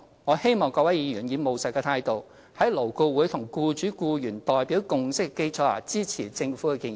我希望各位議員以務實的態度，在勞顧會僱主及僱員代表共識的基礎上，支持政府的建議。